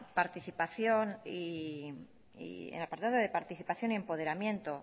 participación y empoderamiento